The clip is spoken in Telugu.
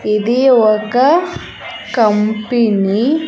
ఇది ఒక కంపినీ .